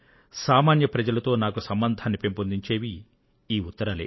సామాన్య ప్రజలతో నాకు సంబంధాన్ని పెంపొందించేవి ఈ ఉత్తరాలే